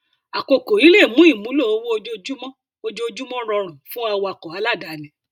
akókò yìí lè mú ìmúlò owó ojoojúmọ ojoojúmọ rọrùn fún awakọ aláàdáni